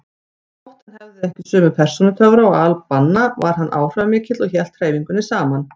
Þótt hann hefði ekki sömu persónutöfra og al-Banna var hann áhrifamikill og hélt hreyfingunni saman.